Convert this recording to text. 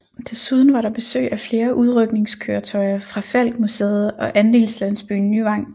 Desuden var der besøg af flere udrykningskøretøjer fra Falck Museet og Andelslandsbyen Nyvang